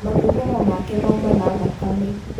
Mathugumo make mauma na thakame.